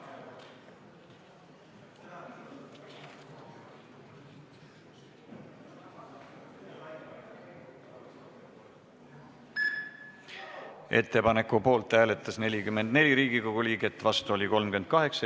Hääletustulemused Ettepaneku poolt hääletas 44 Riigikogu liiget, vastu oli 38.